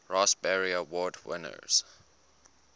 raspberry award winners